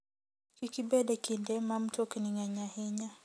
Kik ibed e kinde ma mtokni ng'eny ahinya.